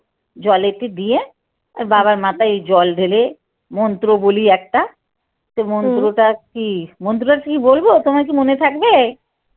জলেতে দিয়ে বাবার মাথায় জল ঢেলে মন্ত্র বলি একটা মন্ত্রটা কী মন্ত্র কী বলবো তোমার কী মনে থাকবে?